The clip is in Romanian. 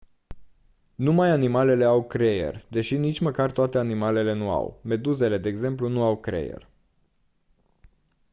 numai animalele au creier deși nici măcar toate animalele nu au; meduzele de exemplu nu au creier